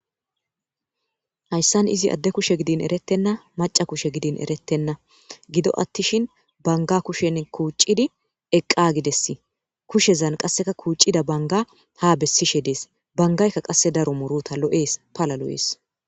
hayssan izi adde kushe gidin erettenna maca kushe gidin erettenna gido attishin banga kushen kuuccidi eqqagides kushezan qasseka kuuccida banga ha bessishe dees bangayka qasse daro murota lo7ees pala lo7ees